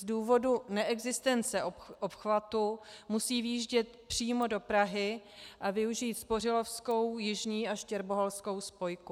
Z důvodu neexistence obchvatu musí vjíždět přímo do Prahy a využít Spořilovskou, Jižní a Štěrboholskou spojku.